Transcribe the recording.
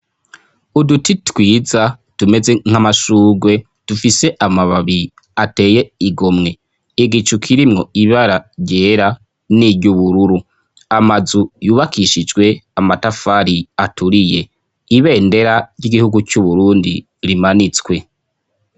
Uduti twiza tumeze nk'amashugwe, dufise amababi ateye igomwe. Igicu kirimwo ibara ryera n'iryubururu. Amazu yubakishijwe amatafari aturiye. Ibendera ry'igihugu c'Uburundi rimanitswe.